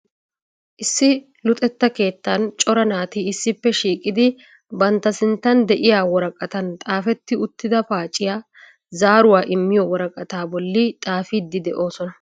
Issi luxetta keettan cora naati issippe shiiqidi bantta sinttan de'iyaa woraqatan xaafeti uttida paaciya zaaruwa immiyo woraqata bolli xaafidi de'oosona.